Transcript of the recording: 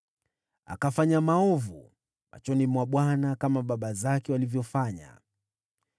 Akafanya maovu machoni mwa Bwana , kama baba zake walivyofanya.